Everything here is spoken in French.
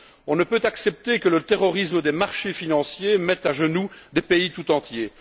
On ne peut accepter que le terrorisme des marchés financiers mette à genoux des pays entiers.